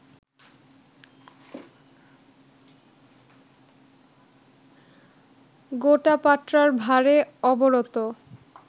গোটা পাট্রার ভারে অবরত